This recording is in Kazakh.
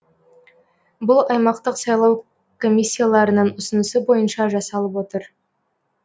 бұл аймақтық сайлау комиссияларының ұсынысы бойынша жасалып отыр